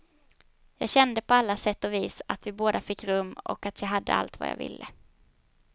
Jag kände på alla sätt och vis att vi båda fick rum och att jag hade allt vad jag ville.